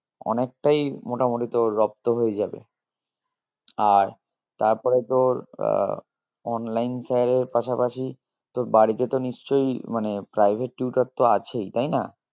অনেকটাই মোটামোটি তোর রপ্ত হয়ে যাবে আর তারপরে তোর আহ online sir এর পাশাপাশি তোর বাড়িতে তো নিশ্চই মানে private tutor তো আছেই তাই না?